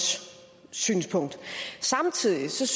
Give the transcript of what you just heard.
synspunkt samtidig synes